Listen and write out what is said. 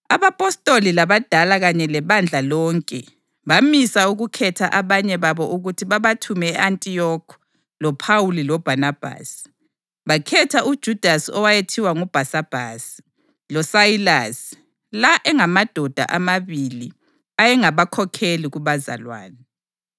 Abapostoli labadala kanye lebandla lonke bamisa ukukhetha abanye babo ukuthi babathume e-Antiyokhi loPhawuli loBhanabhasi. Bakhetha uJudasi owayethiwa nguBhasabhasi, loSayilasi, la engamadoda amabili ayengabakhokheli kubazalwane.